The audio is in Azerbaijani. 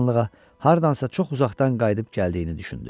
Bir anlığa hardansa çox uzaqdan qayıdıb gəldiyini düşündü.